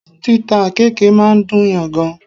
Títa àkéèke máa ń dùn yàn gan